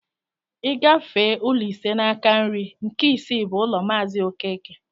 I gafee ụlọ ise n'aka nri, nke isii bụ ụlọ maazi okeke